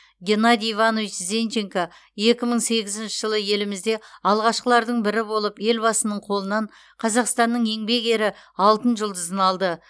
геннадий иванович зенченко екі мың сегізінші жылы елімізде алғашқылардың бірі болып елбасының қолынан қазақстанның еңбек ері алтын жұлдызын алды